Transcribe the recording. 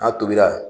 N'a tobira